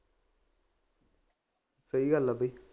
ਸਹੀ ਗੱਲ ਹੈ ਬਈ